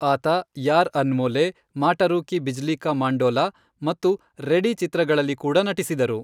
ಆತ ಯಾರ್ ಅನ್ಮೊಲೆ, ಮಾಟರೂ ಕಿ ಬಿಜ್ಲೀ ಕಾ ಮಂಡೋಲಾ ಮತ್ತು ರೆಡಿ ಚಿತ್ರಗಳಲ್ಲಿ ಕೂಡ ನಟಿಸಿದರು.